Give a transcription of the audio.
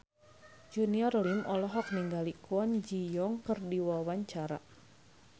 Junior Liem olohok ningali Kwon Ji Yong keur diwawancara